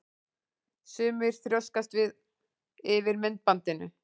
Sumir þrjóskast við yfir myndbandinu.